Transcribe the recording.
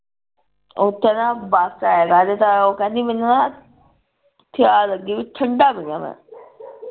ਉਥੇ ਨਾ ਬਸ ਵਿਚ ਆਏਗਾ ਜਿੰਦਾ ਉਹ ਕਹਿੰਦੀ ਮੈਨੂੰ ਨਾ ਤਿਆ ਲੱਗੀ ਠੰਡਾ ਪੀਣਾ ਮੈਂ